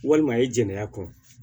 Walima i jɛnɛya kɔn